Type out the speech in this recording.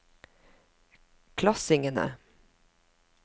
klassingene